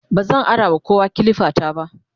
bazan arawa kowa kilifa ta ba